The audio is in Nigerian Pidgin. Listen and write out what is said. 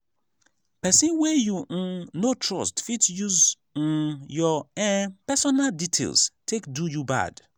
person wey you um no trust fit use um your um personal details take do you bad